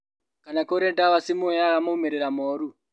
Kana kũrĩ ndawa cimũheaga maumĩrĩra moru